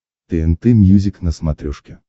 тнт мьюзик на смотрешке